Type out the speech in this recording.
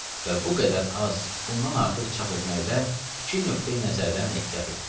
Və bu qədər az, bundan artıq çap etməkdə iki nöqteyi-nəzərdən ehtiyat etdik.